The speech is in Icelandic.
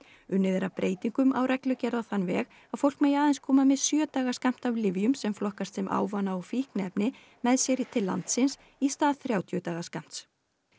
unnið er að breytingum á reglugerð á þann veg að fólk megi aðeins koma með sjö daga skammt af lyfjum sem flokkast sem ávana og fíkniefni með sér til landins í stað þrjátíu daga skammts